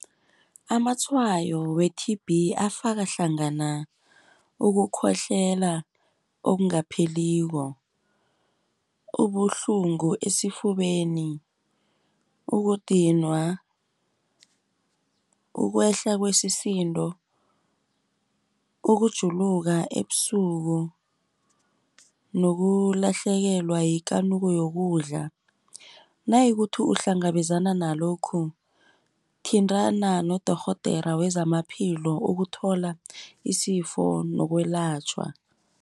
Amatshwayo we-T_B afaka hlangana ukukhohlela okungapheliko, ubuhlungu esifubeni, ukudinwa, ukwehla kwesisindo, ukujuluka ebusuku, nokulahlekelwa yikanuko yokudla. Nayikuthi ukuhlangabezana nalokhu, thintana nodorhodera wezamaphilo ukuthola isifo lokwelatjhwa.